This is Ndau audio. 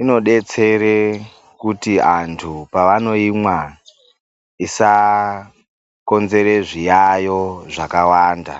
inodetsere kuti antu paanoimwa, isakonzere zviyayo zvakawanda.